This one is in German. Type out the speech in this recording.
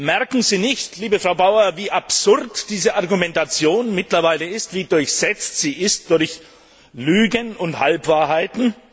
Merken Sie nicht, liebe Frau Bauer, wie absurd diese Argumentation mittlerweile ist, wie durchsetzt sie ist von Lügen und Halbwahrheiten?